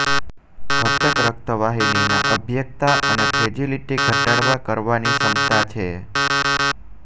ઘટક રક્તવાહિનીના અભેદ્યતા અને ફ્રેજીલિટી ઘટાડવા કરવાની ક્ષમતા છે